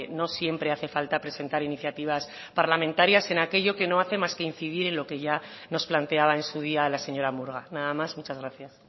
no siempre hace falta presentar iniciativas parlamentarias en aquello que no hace más que incidir en lo que ya nos planteaba en su día la señora murga nada más muchas gracias